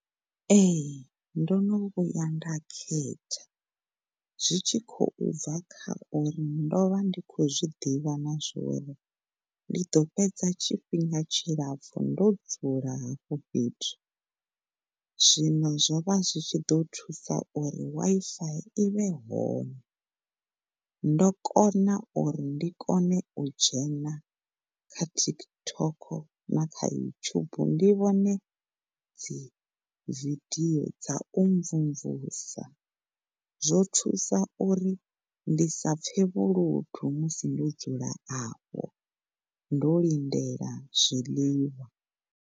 Ehe, ndo no vhuya nda khetha zwi tshi khou bva kha uri ndo vha ndi khou zwiḓivha na zwori ndi ḓo fhedza tshifhinga tshilapfu ndo dzula hafha fhethu zwino zwo vha zwi tshi ḓo thusa uri Wi-Fi i vhe hone. Ndo kona uri ndi kone u dzhena kha TikTok na kha YouTube ndi vhone dzi vidio dza u mvumvusa, zwo thusa uri ndi sa pfe vhuludu musi ndo dzula afho ndo lindelaho zwiḽiwa.